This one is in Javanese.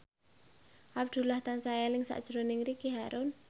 Abdullah tansah eling sakjroning Ricky Harun